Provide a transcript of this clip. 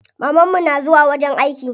Maman mu na zuwa wajen aiki.